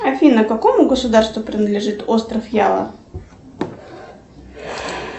афина какому государству принадлежит остров ява